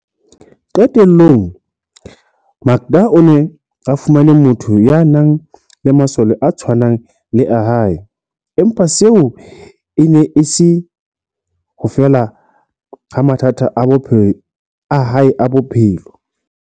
Qe tellong, Makda o ne a fumane motho ya nang le masole a tshwanang le a hae, empa seo e ne e se ho fela ha mathata a hae a bophelo.